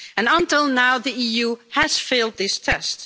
Until now the EU has failed this test.